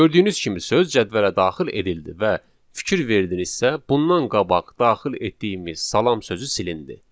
Gördüyünüz kimi söz cədvələ daxil edildi və fikir verdinizsə, bundan qabaq daxil etdiyimiz salam sözü silindi.